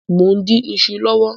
Mọ n dín iṣu lọwọ